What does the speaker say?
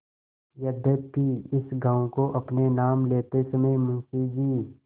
यद्यपि इस गॉँव को अपने नाम लेते समय मुंशी जी